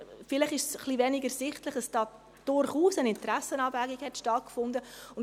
Vielleicht ist es etwas wenig ersichtlich, dass hier durchaus eine Interessenabwägung stattgefunden hat.